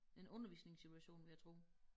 En undervisningssituation vil jeg tro